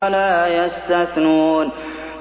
وَلَا يَسْتَثْنُونَ